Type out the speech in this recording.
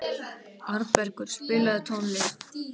Arnbergur, spilaðu tónlist.